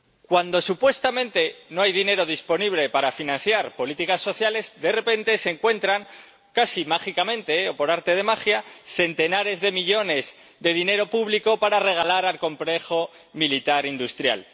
Cuando supuestamente no hay dinero disponible para financiar políticas sociales, de repente se encuentran, casi mágicamente, o por arte de magia, centenares de millones de dinero público para regalar al complejo militar industrial.